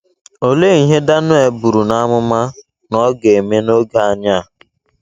Olee ihe Daniel buru n’amụma na ọ ga - eme n’oge anyị a?